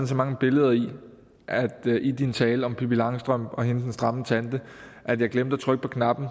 så mange billeder i i din tale om pippi langstrømpe og hende den stramme tante at jeg glemte at trykke på knappen